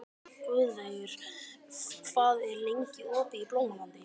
Guðveigur, hvað er lengi opið í Blómalandi?